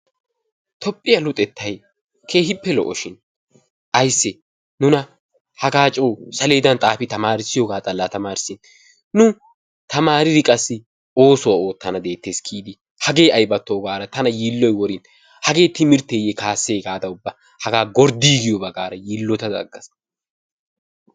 Tophphiya luxettay keehippe lo'oshin ayisse nuna hagaa coo saleedan xaafi tamaarissiyogaa xallaa tamaarissin nu tamaaridi qassi oosuwa oottana deettes giidi hagee ayibattoo gaada tana yiilloy worin hagee timirtteeye kaassee gaada ubba hagaa gorddiiggiyoba gaada yiillotada aggaas.